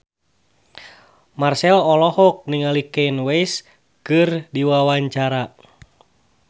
Marchell olohok ningali Kanye West keur diwawancara